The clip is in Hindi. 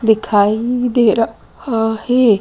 दिखाई दे रहा है।